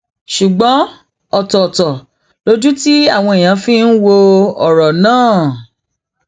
ṣùgbọn ọtọọtọ lojú tí àwọn èèyàn fi ń wo ọrọ náà